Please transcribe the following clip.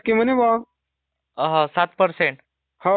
हो आणि पाच वर्षांपर्यंत त्याचा Voice not Clear